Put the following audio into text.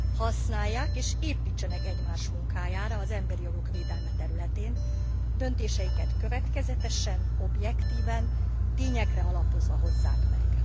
Használják és építsenek egymás munkájára az emberi jogok védelme területén, döntéseiket következetesen, objektíven, tényekre alapozva hozzák meg.